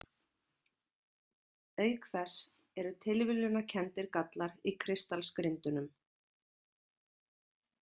Auk þess eru tilviljunarkenndir gallar í kristallsgrindunum.